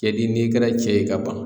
Cɛden n'i kɛra cɛ ye ka ban